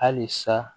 Halisa